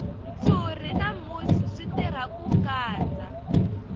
ntshuri na musi swi tirha ku kandza